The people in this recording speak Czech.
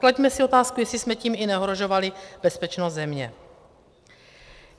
Klaďme si otázku, jestli jsme tím i neohrožovali bezpečnost země.